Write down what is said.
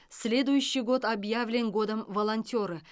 следующий год объявлен годом волонтера